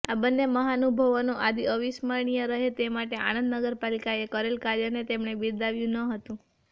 આ બંને મહાનુભાવોની યાદો અવિસ્મઞરણીય રહે તે માટે આણંદ નગરપાલિકાએ કરેલ કાર્યને તેમણે બિરદાવ્યુંન હતું